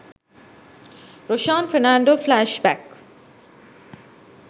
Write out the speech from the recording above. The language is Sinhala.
roshan fernando flash back